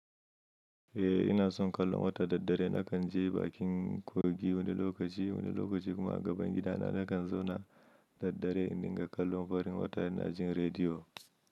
Eh ina son kallon wata daddare nakan je bakin kogi wani lokaci wani lokaci kuma a gaban gidana na kan zauna daddare in dinga kallon farin wata ina jin rediyo.